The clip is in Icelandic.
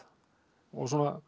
og